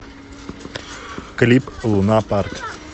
клип луна парк